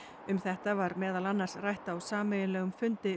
um þetta var meðal annars rætt á sameiginlegum fundi